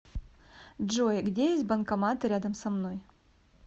джой где есть банкоматы рядом со мной